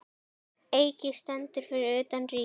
Eiki stendur fyrir utan Ríkið.